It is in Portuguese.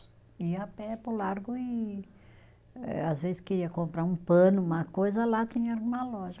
Ia a pé para o Largo e, eh às vezes, queria comprar um pano, uma coisa, lá tinha alguma loja.